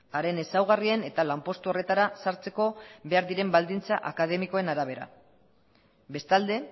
haren ezaugarrien eta lanpostu horretara sartzeko behar diren baldintza akademikoen arabera bestalde